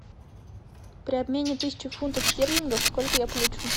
при обмене тысячи фунтов стерлингов сколько я получу